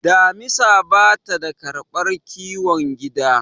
damisa ba ta karbar kiwon gida